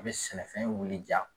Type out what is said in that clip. A bɛ sɛnɛfɛn wilija.